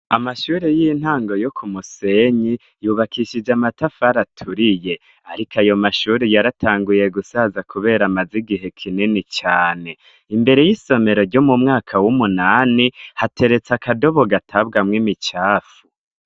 Amashure y'intango yo k'umusenyi yubakishije amatafari aturiye ariko ayomashure yaratanguye gusaza kubera amaze igihe kinini cane. Imbere y'isomero ryo m'umyaka w'umunani hateretse akadobo gatabwamwo imicafu.